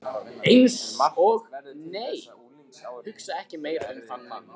Eins og- nei, hugsa ekki meira um þann mann!